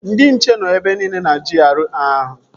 Ndị nche nọ ebe nile na GRA ahụ